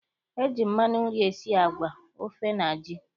E ji mmanụ nri esi agwa, ofe na ji.